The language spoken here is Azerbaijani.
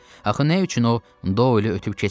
Axı nə üçün o Doelü ötüb keçməsin?